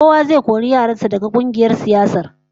Kowa zai kori yaran sa daga kungiyar siyasar